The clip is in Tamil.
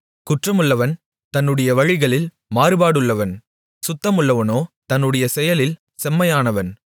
குற்றமுள்ளவன் தன்னுடைய வழிகளில் மாறுபாடுள்ளவன் சுத்தமுள்ளவனோ தன்னுடைய செயலில் செம்மையானவன்